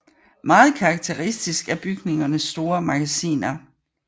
Meget karakteristisk er bygningens store magasiner